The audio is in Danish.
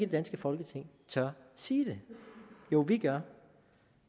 danske folketing tør sige det jo vi gør